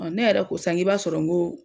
Ɔ ne yɛrɛ ko sa n k'i b'a sɔrɔ n ko